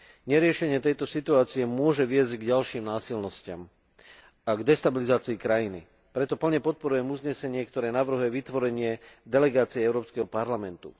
Neriešenie tejto situácie môže viesť k ďalším násilnostiam a k destabilizácii krajiny, preto plne podporujem uznesenie, ktoré navrhuje vytvorenie delegácie Európskeho parlamentu.